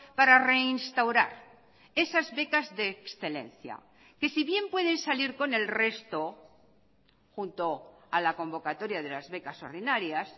para reinstaurar esas becas de excelencia que si bien pueden salir con el resto junto a la convocatoria de las becas ordinarias